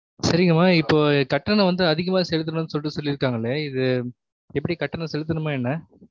சரிங்கமா இப்போ கட்டணம் வந்து அதிகமா செலுத்தணும்னுட்டு சொல்லிருக்காங்களே இது எப்படி கட்டணம் செலுத்தணுமா என்ன